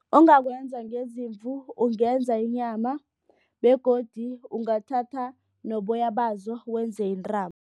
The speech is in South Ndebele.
Ongakwenza ngezimvu ungenza inyama begodu ungathatha noboya bazo wenze intambo.